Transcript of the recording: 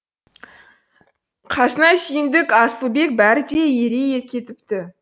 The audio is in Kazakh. қасына сүйіндік асылбек бәрі де ере кетіпті